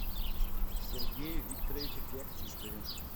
сергее викторовиче феоктистове